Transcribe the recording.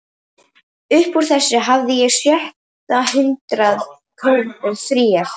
Upp úr þessu hafði ég á sjötta hundrað krónur fríar.